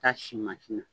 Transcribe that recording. K'a si mansin na